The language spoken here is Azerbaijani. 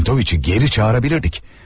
Çentoviçi geri çağıra bilərdik.